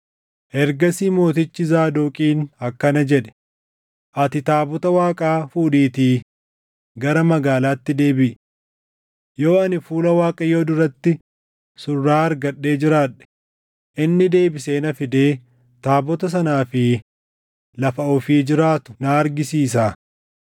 Ergasii mootichi Zaadoqiin akkana jedhe; “Ati taabota Waaqaa fuudhiitii gara magaalaatti deebiʼi. Yoo ani fuula Waaqayyoo duratti surraa argadhee jiraadhe, inni deebisee na fidee taabota sanaa fi lafa ofii jiraatu na argisiisa.